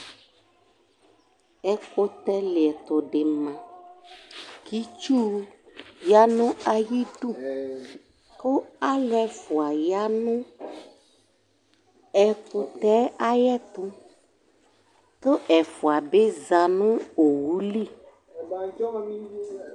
Ɛkʋtɛlɩɛtʋ dɩ ma kʋ itsu ya nʋ ayidu kʋ alʋ ɛfʋa ya nʋ ɛkʋtɛ yɛ ayɛtʋ kʋ ɛfʋa bɩ za nʋ owu li